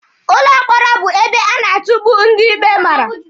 Ụlọ mkpọrọ bụ ebe a na-atukpu ndị ikpe mara.